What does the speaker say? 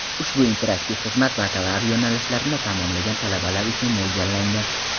Ushbu interaktiv xizmat Bakalavr yo‘nalishlarini tamomlagan talabalar uchun mo‘ljallangan.